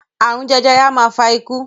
Àrun jẹjẹrẹ a máa fa ikú